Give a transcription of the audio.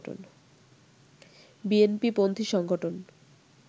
বিএনপিপন্থী সংগঠন